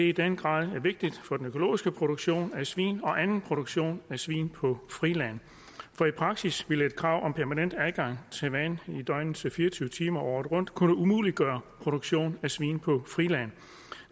i den grad vigtigt for den økologiske produktion af svin og anden produktion af svin på friland for i praksis ville et krav om permanent adgang til vand i døgnets fire og tyve timer året rundt kunne umuliggøre produktion af svin på friland